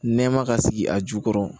Nɛɛma ka sigi a jukɔrɔ